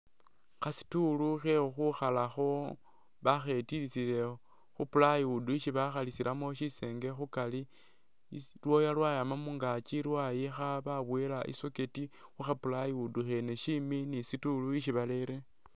Kha'stool khe'khukhukhalakho bakhetilisile khu plywood ishi bakhalisilamo shisenge khukari isi lu wire lwayama mungaakyi lwayikha baboyele i'socket khu kha plywood khene shimi ni stool ishi barerewo